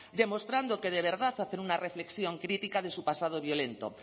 demostrando que de verdad hacer una reflexión crítica de su pasado violento